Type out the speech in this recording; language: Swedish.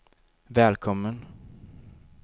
välkommen